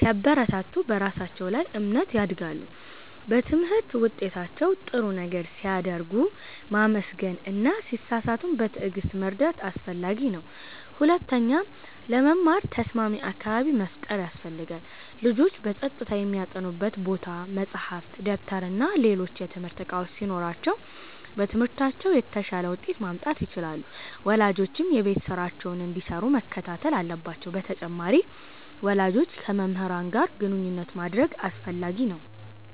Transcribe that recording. ሲያበረታቱ በራሳቸው ላይ እምነት ያድጋሉ። በትምህርት ውጤታቸው ጥሩ ነገር ሲያደርጉ ማመስገን እና ሲሳሳቱም በትዕግሥት መርዳት አስፈላጊ ነው። ሁለተኛ፣ ለመማር ተስማሚ አካባቢ መፍጠር ያስፈልጋል። ልጆች በጸጥታ የሚያጠኑበት ቦታ፣ መጻሕፍት፣ ደብተርና ሌሎች የትምህርት እቃዎች ሲኖሯቸው በትምህርታቸው የተሻለ ውጤት ማምጣት ይችላሉ። ወላጆችም የቤት ስራቸውን እንዲሰሩ መከታተል አለባቸው በተጨማሪም፣ ወላጆች ከመምህራን ጋር ግንኙነት ማድረግ አስፈላጊ ነው።